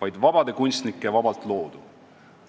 vaid vabade kunstnike vabalt loodu.